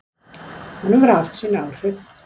Hún hefur haft sín áhrif.